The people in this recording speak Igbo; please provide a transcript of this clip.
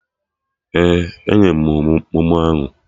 Ee, enwe m memo ahụ